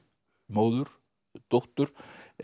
móður dóttur